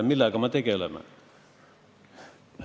... millega me tegeleme.